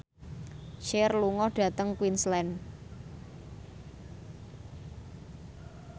Cher lunga dhateng Queensland